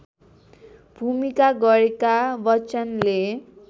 भूमिका गरेका बच्चनले